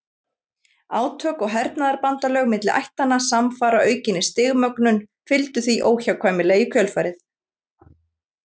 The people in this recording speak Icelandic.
Átök og hernaðarbandalög milli ættanna samfara aukinni stigmögnun fylgdu því óhjákvæmilega í kjölfarið.